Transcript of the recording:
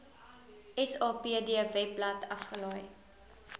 sapd webblad afgelaai